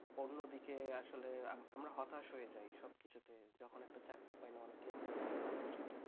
আমি হতাস হয়ে যাই যখন দেখি একটা চাকরি পাইনা অনেকে দেখেছি আত্মহত্যা করেছে